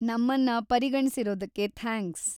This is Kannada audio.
ನಮ್ಮನ್ನ ಪರಿಗಣ್ಸಿರೋದಕ್ಕೆ ಥ್ಯಾಂಕ್ಸ್.